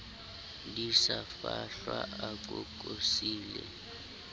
di sa fahlwa a kokosile